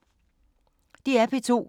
DR P2